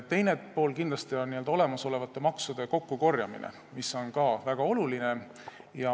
Teine pool on kindlasti olemasolevate maksude kokkukorjamine, mis on ka väga oluline.